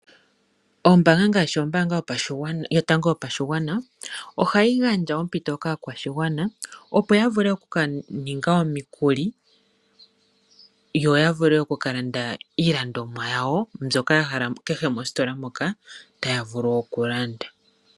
Ombanga ngaashi ombanga yotango yopashigwana oha yi gadja ompito kaakwashigwana opo ya vule okukaninga omikuli yo ya vule okukalanda iilandomwa yawo mbyoka ya hala kehe mositola moka taya vulu okulanda.